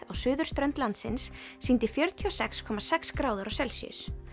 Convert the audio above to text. á suðurströnd landsins sýndi fjörutíu og sex komma sex gráður á Celsíus